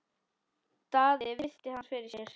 Daði virti hann fyrir sér.